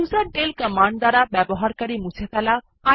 userdel command দ্বারা user মুছে ফেলা